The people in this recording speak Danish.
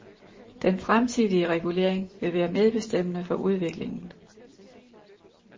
Den fremtidige regulering vil være medbestemmende for udviklingen.